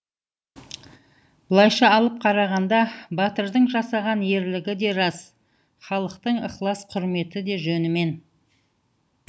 былайша алып қарағанда батырдың жасаған ерлігі де рас халықтың ықылас құрметі де жөнімен